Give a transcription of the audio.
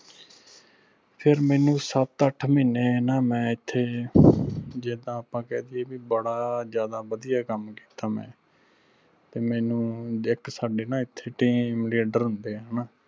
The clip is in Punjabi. ਫਿਰ ਮੈਨੂੰ ਸੱਤ ਅੱਠ ਮਹੀਨੇ ਨਾਂ ਮੈਂ ਇਥੇ ਜਿਦਾਂ ਆਪਾਂ ਕਹਿ ਦੀਏ ਵੀ ਬੜਾ ਜ਼ਿਆਦਾ ਵਧਿਆ ਕੰਮ ਕੀਤਾ ਮੈਂ ਤੇ ਮੈਨੂੰ ਇਕ ਸਾਡੇ ਨਾ ਇਥੇ team leader ਹੁੰਦੇ ਆ ਹਣਾ।